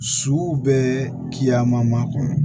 Su bɛ kiyaman kɔnɔ